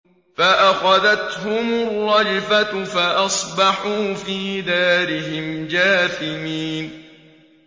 فَأَخَذَتْهُمُ الرَّجْفَةُ فَأَصْبَحُوا فِي دَارِهِمْ جَاثِمِينَ